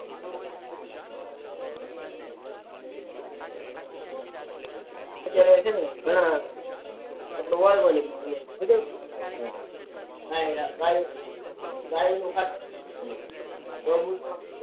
અત્યારે છે ને ઘણા